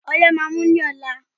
Ọyé máà ń mú ní ọ̀la.